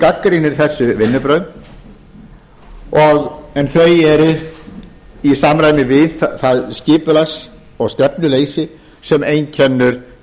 gagnrýnir þessi vinnubrögð en þau eru í samræmi við það skipulags og stefnuleysi sem einkennir